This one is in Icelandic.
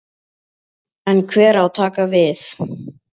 En hver á að taka við?